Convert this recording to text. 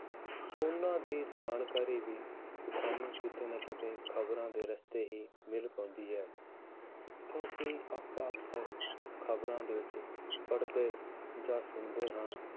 ਉਹਨਾਂ ਦੀ ਜਾਣਕਾਰੀ ਵੀ ਸਾਨੂੰ ਕਿਤੇ ਨਾ ਕਿਤੇ ਖ਼ਬਰਾਂ ਦੇ ਰਸਤੇ ਹੀ ਮਿਲ ਪਾਉਂਦੀ ਹੈ ਤਾਂ ਕਿ ਆਪਾਂ ਅਕਸਰ ਖ਼ਬਰਾਂ ਦੇ ਵਿੱਚ ਪੜ੍ਹਦੇ ਜਾਂ ਸੁਣਦੇ ਹਾਂ